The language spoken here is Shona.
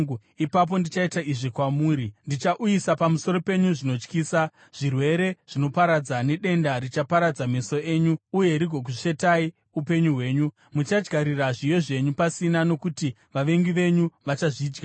ipapo ndichaita izvi kwamuri: Ndichauyisa pamusoro penyu zvinotyisa, zvirwere zvinoparadza nedenda richaparadza meso enyu, uye rigokusvetai upenyu hwenyu. Muchadyarira zviyo zvenyu pasina nokuti vavengi venyu vachazvidya.